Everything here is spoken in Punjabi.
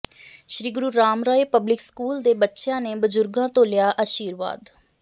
ਸ੍ਰੀ ਗੁਰੂ ਰਾਮ ਰਾਏ ਪਬਲਿਕ ਸਕੂਲ ਦੇ ਬੱਚਿਆਂ ਨੇ ਬਜ਼ੁਰਗਾਂ ਤੋਂ ਲਿਆ ਅਸ਼ੀਰਵਾਦ